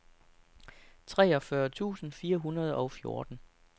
treogfyrre tusind fire hundrede og fjorten